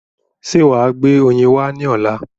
Ṣé wàá gbé oyin wá ní ọ̀la?